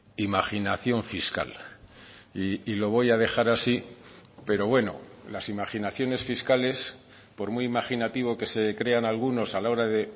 imaginación fiscal y lo voy a dejar así pero bueno las imaginaciones fiscales por muy imaginativo que se crean algunos a la hora de